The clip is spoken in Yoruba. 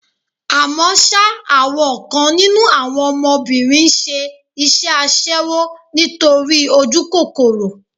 Àmọ́ ṣá, àwọn kan nínú àwọn ọmọbìnrin ń ṣe iṣẹ́ aṣẹ́wó nítorí ojúkòkòrò.